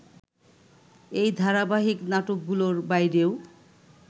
এই ধারাবাহিক নাটকগুলোর বাইরেও